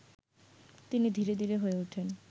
তিনি ধীরে-ধীরে হয়ে উঠেন